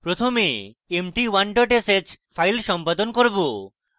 প্রথমে আমরা empty1 dot sh file সম্পাদন করব